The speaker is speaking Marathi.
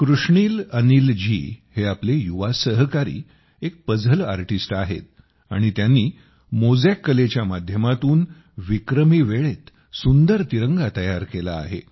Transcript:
कृष्णील अनिल जीहे आपले युवा सहकारी एक पझल आर्टिस्ट आहेत आणि त्यांनी मोज़ॅक कलेच्या माध्यमातून विक्रमी वेळेत सुंदर तिरंगा तयार केला आहे